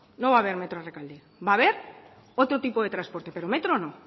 no va a haber metro a rekalde va a haber otro tipo de transporte pero metro no